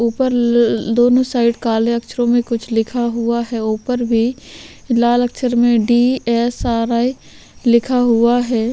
ऊपर ल दोनों साइड काले अक्षरों में कुछ लिखा हुआ है ऊपर भी लाल अक्षर में डी_एस_आर_आई लिखा हुआ है।